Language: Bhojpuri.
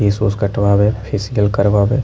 केश उस कटवावे फेसिअल करवावे।